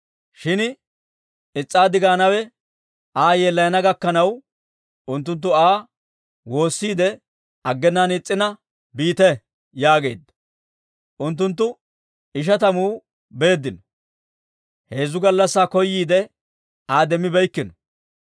Shin is's'aaddi gaanawe Aa yeellayana gakkanaw, unttunttu Aa woosiide aggenaan is's'ina, «Biite» yaageedda. Unttunttu ishatamu beeddino. Heezzu gallassaa koyiide, Aa demmibeeykkino.